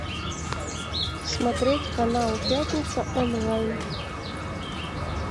смотреть канал пятница онлайн